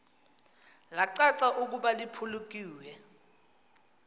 lacaca ukuba liphulukiwe